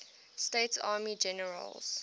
states army generals